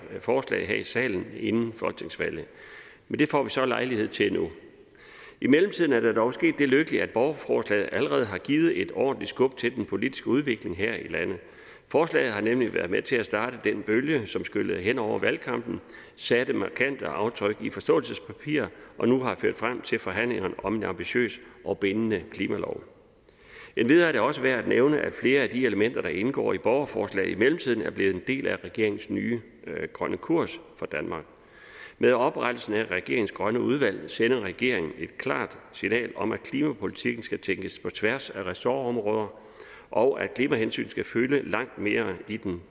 forslaget her i salen inden folketingsvalget men det får vi så lejlighed til nu i mellemtiden er der dog sket det lykkelige at borgerforslaget allerede har givet et ordentligt skub til den politiske udvikling her i landet forslaget har nemlig været med til at starte den bølge som skyllede hen over valgkampen satte markante aftryk i forståelsespapiret og nu har det ført frem til forhandlinger om en ambitiøs og bindende klimalov endvidere er det også værd at nævne at flere af de elementer der indgår i borgerforslaget i mellemtiden er blevet en del af regeringens nye grønne kurs for danmark med oprettelsen af regeringens grønne udvalg sender regeringen et klart signal om at klimapolitikken skal tænkes på tværs af ressortområder og at klimahensyn skal fylde langt mere i den